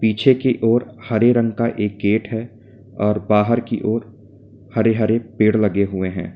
पीछे की ओर हरे रंग का एक गेट है और बाहर की ओर हरे-हरे पेड़ लगे हुए हैं।